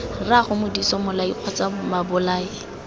rraago modise mmolai kgotsa babolai